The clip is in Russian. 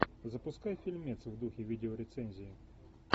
запускай фильмец в духе видео рецензии